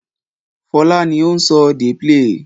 Fọlá ni ó ń sọ "dey play".